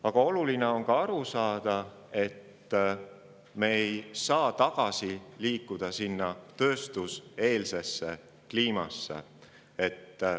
Aga oluline on ka aru saada sellest, et me ei saa liikuda tagasi tööstuseelse aja kliimasse.